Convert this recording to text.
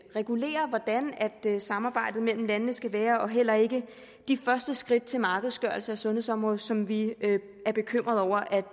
regulerer hvordan samarbejdet mellem landene skal være og heller ikke de første skridt til markedsgørelse af sundhedsområdet som vi er bekymrede over